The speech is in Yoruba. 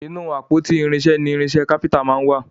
Ínú àpótí irinṣẹ ní irinṣẹ kápẹ́ńtà món wá.